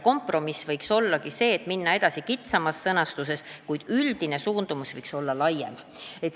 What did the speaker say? Kompromiss võiks ollagi see, et minna edasi kitsama sõnastusega, kuid üldine suundumus võiks olla laiem.